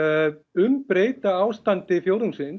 umbreyta ástandi